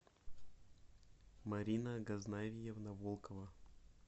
марина газнавьевна волкова